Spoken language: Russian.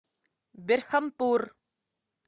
берхампур